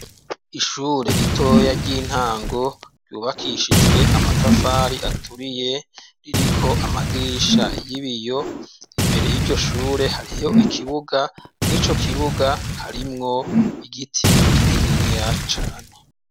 Ishure ritoya ry'intango ryubakishijwe amatafari aturiye ririko amadirisha y'ibiyo, imbere y'iryo shure hariho ikibuga mwico kibuga harimwo igiti kininiya cane.